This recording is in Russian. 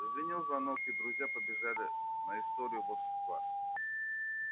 зазвенел звонок и друзья побежали на историю волшебства